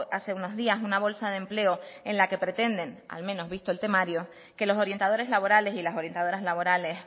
hace unos días una bolsa de empleo en la que pretenden al menos visto el temario que los orientadores laborales y las orientadoras laborales